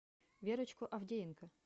верочку авдеенко